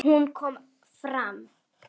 Hún kom fram.